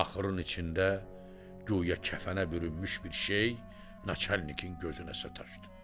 Axurun içində güya kəfənə bürünmüş bir şey naçəllikin gözünə sataşdı.